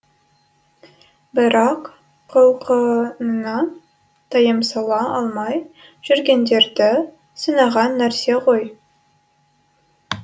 бірақ құлқынына тыйым сала алмай жүргендерді сынаған нәрсе ғой